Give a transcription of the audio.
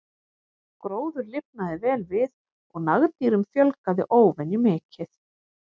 Gróður lifnaði vel við og nagdýrum fjölgaði óvenju mikið.